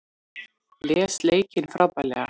Les leikinn frábærlega